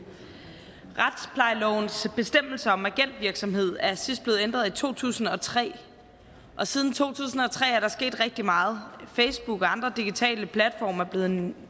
retsplejelovens bestemmelser om agentvirksomhed er sidst blevet ændret i to tusind og tre og siden to tusind og tre er der sket rigtig meget facebook og andre digitale platforme er blevet en